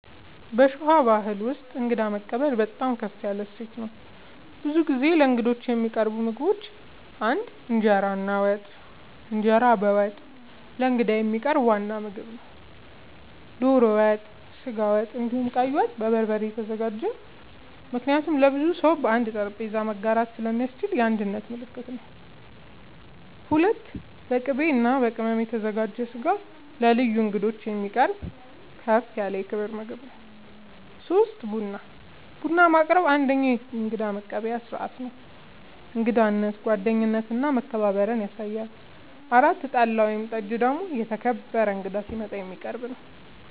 በሸዋ ባሕል ውስጥ እንግዳ መቀበል በጣም ከፍ ያለ እሴት ነው። ብዙ ጊዜ ለእንግዶች የሚቀርቡ ምግቦች ፩) እንጀራ እና ወጥ፦ እንጀራ በወጥ ለእንግዳ የሚቀርብ ዋና ምግብ ነው። ዶሮ ወጥ፣ ስጋ ወጥ፣ እንዲሁም ቀይ ወጥ( በበርበሬ የተዘጋጀ) ምክንያቱም ለብዙ ሰው በአንድ ጠረጴዛ ላይ መጋራት ስለሚያስችል የአንድነት ምልክት ነው። ፪.. በቅቤ እና በቅመም የተዘጋጀ ስጋ ለልዩ እንግዶች የሚቀርብ ከፍ ያለ የክብር ምግብ ነው። ፫. ቡና፦ ቡና ማቅረብ አንደኛዉ የእንግዳ መቀበያ ስርዓት ነው። እንግዳነትን፣ ጓደኝነትን እና መከባበርን ያሳያል። ፬ .ጠላ ወይም ጠጅ ደግሞ የተከበረ እንግዳ ሲመጣ የሚቀረብ ነዉ